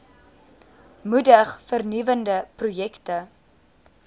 moedig vernuwende projekte